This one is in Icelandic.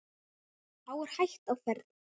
Þá er hætta á ferð.